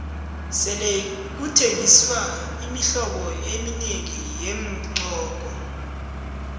sele kuthengiswa imihlobo eminengi yeengqoko